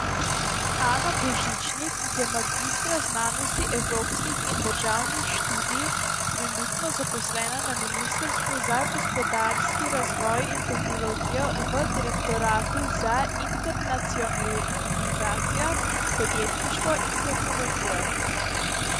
Ana Božičnik je magistra znanosti evropskih in državnih študij, trenutno zaposlena na ministrstvu za gospodarski razvoj in tehnologijo v direktoratu za internacionalizacijo, podjetništvo in tehnologijo.